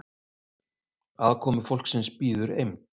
aðkomufólksins bíður eymd